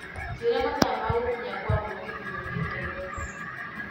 njĩra mathaa ma gũkinya Kwa mũgithi gũthiĩ nairobi